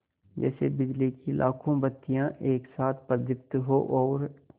जैसे बिजली की लाखों बत्तियाँ एक साथ प्रदीप्त हों और